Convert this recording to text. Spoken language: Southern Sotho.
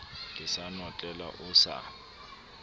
ke sa notlela o sa